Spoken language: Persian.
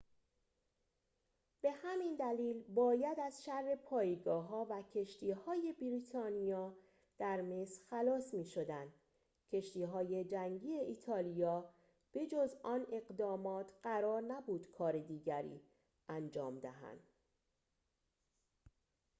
به همین دلیل باید از شر پایگاه‌ها و کشتی‌های بریتانیا در مصر خلاص می‌شدند کشتی‌های جنگی ایتالیا به‌جز آن اقدامات قرار نبود کار دیگری انجام دهند